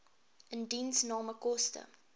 indiensname koste